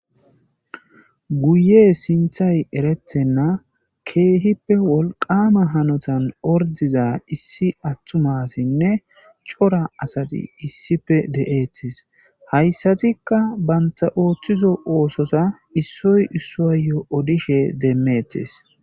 Guye sinthay eretenna keehippe wolqama hanotan ordiza issi attuma asinne cora asati issipe de7eetes. Hayssatikka banta ooththizo oosoza issoy issoayyo odishe demmettes.